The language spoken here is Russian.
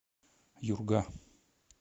юрга